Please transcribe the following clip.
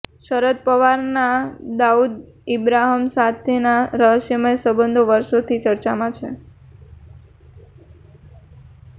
શરદ પવારના દાઉદ ઇબ્રાહિમ સાથેના રહસ્યમય સંબંધો વર્ષોથી ચર્ચામાં છે